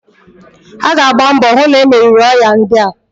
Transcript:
A ga agba mbọ hu na-e meriri oya ndia.